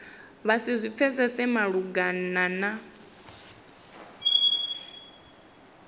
vha si zwi pfesese malugana